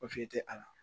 O fe te a la